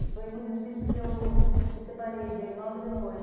E foi muito difícil porque eu me separei dele logo depois.